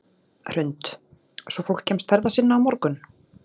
Hrund: Svo fólk kemst ferða sinna á morgun?